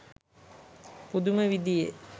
පුදුම විදියේ